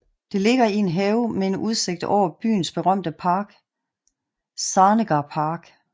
Det ligger i en have med en udsigt over byens berømte park Zarnegar Park